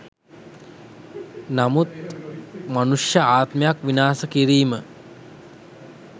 නමුත් මනුෂ්‍ය ආත්මයක් විනාස කිරීම